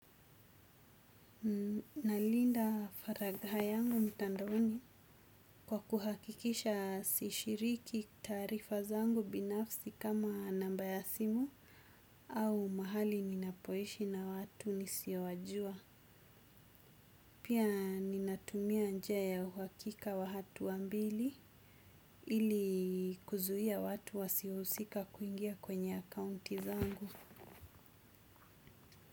Nalinda faragha yangu mtandaoni kwa kuhakikisha sishiriki taarifa zangu binafsi kama namba ya simu au mahali ninapoishi na watu nisio wajua. Pia ninatumia njia ya uhakika wa hatua mbili ili kuzuia watu wasio husika kuingia kwenye akaunti zangu.